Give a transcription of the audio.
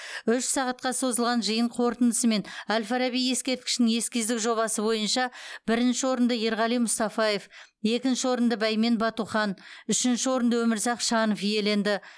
үш сағатқа созылған жиын қортындысымен әл фараби ескерткішінің эскиздік жобасы бойынша бірінші орынды ерғали мұстафаев екінші орынды бәймен батухан үшінші орынды өмірзақ шанов иеленді